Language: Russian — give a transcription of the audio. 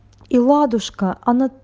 и ладушка она